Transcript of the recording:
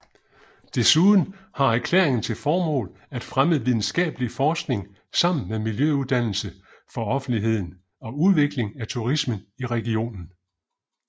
Desuden har erklæringen til formål at fremme videnskabelig forskning sammen med miljøuddannelse for offentligheden og udvikling af turismen i regionen